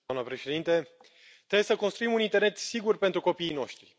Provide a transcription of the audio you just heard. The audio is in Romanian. Doamna președintă, vrem să construim un internet sigur pentru copiii noștri.